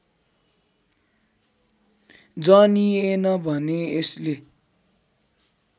जनिएन भने यसले